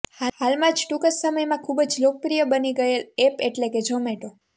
હાલમાંજ ટુકજ સમય માં ખુબજ લોકપ્રિય બણીગયેલ અપ્પ એટલે કે ઝોમાટો